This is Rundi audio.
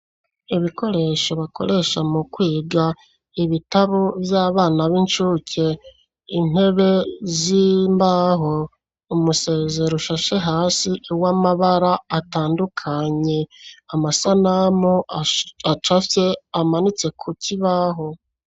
Ibikoresho bakoresha mu kwiga, ibitabo vy'abana b'incuke ,intebe z'imbaho, umusezero ushashe hasi uw'amabara atandukanye, amasanamu acafye amanitse ku kibaho.